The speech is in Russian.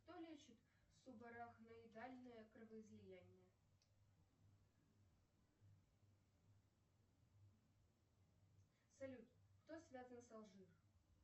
кто лечит субарахноидальное кровоизлияние салют кто связан с алжир